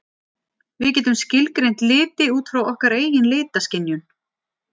við getum skilgreint liti út frá okkar eigin litaskynjun